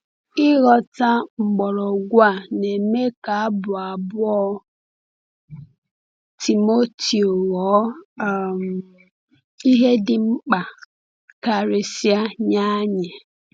Ịghọta mgbọrọgwụ a na-eme ka Abụ abụọ Timoteo ghọọ um ihe dị mkpa karịsịa nye anyị.